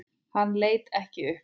Hann leit ekki upp.